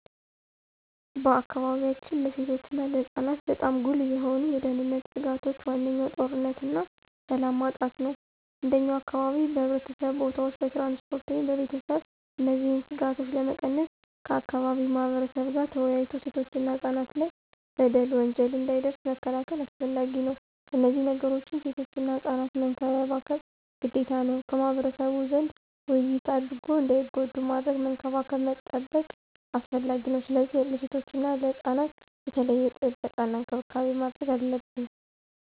በአካባቢያችን ለሴቶች እና ለህፃናት በጣም ጉልህ የሆኑ የደህንነት ስጋቶች ዋነኛው ጦርነትና ሰላም ማጣት ነው። እንደኛ አካባቢ በሕዝብ ቦታዎች፣ በትራንስፖርት ወይም በቤተሰብ እነዚህን ስጋቶች ለመቀነስ ከአካባቢው ማህበረብ ጋር ተወያይቶ ሴቶችና ህፃናት ላይ በደል፣ ወንጀል እንዳይደርስ መከላከል አስፈላጊ ነው። ከነዚህ ነገሮችም ሴቶችና ህፃናት መንከባከብ ግዴታ ነው። ከማህበረሰቡ ዘንድ ውይይት አድርጎ እንዳይጎዱ ማድረግ፣ መንከባከብ መጠበቅ አስፈላጊ ነው። ስለዚህ ለሴቶችና ህፃናት የተለየ ጥበቃና እንክብካቤ ማድረግ አለብን።